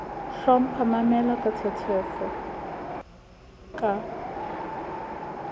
hlompha mamela ka tshetshefo ka